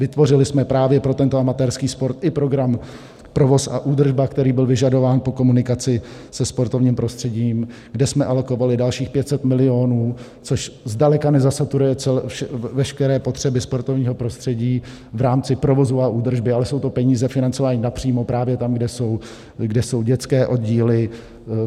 Vytvořili jsme právě pro tento amatérský sport i program Provoz a údržba, který byl vyžadován po komunikaci se sportovním prostředím, kde jsme alokovali dalších 500 milionů, což zdaleka nezasaturuje veškeré potřeby sportovního prostředí v rámci provozu a údržby, ale jsou to peníze financované napřímo právě tam, kde jsou dětské oddíly.